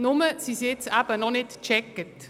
Nur sind sie jetzt noch nicht geprüft.